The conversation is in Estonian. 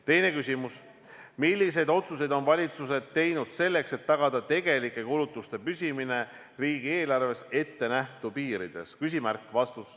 Teine küsimus: "Milliseid otsuseid on valitsused teinud selleks, et tagada tegelike kulutuste püsimine riigieelarves ettenähtud piirides?